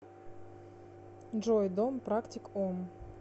джой дом практик ом